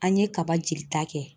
An ye kaba jeli ta kɛ.